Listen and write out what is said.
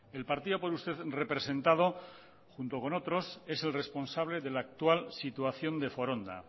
el partido por usted representado junto con otros es el responsable de la actual situación de foronda